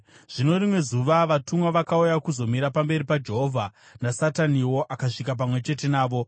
Zvino rimwe zuva vatumwa vakauya kuzomira pamberi paJehovha, naSataniwo akasvika pamwe chete navo.